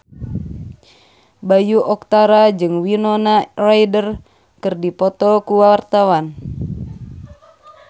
Bayu Octara jeung Winona Ryder keur dipoto ku wartawan